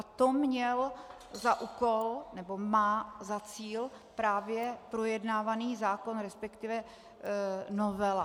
A to měl za úkol, nebo má za cíl, právě projednávaný zákon, respektive novela.